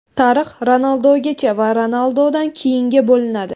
Tarix Ronaldugacha va Ronaldudan keyinga bo‘linadi.